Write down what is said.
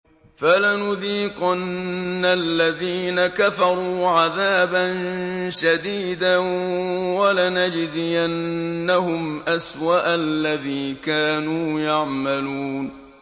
فَلَنُذِيقَنَّ الَّذِينَ كَفَرُوا عَذَابًا شَدِيدًا وَلَنَجْزِيَنَّهُمْ أَسْوَأَ الَّذِي كَانُوا يَعْمَلُونَ